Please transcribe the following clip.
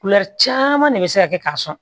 caman de bɛ se ka kɛ k'a sɔn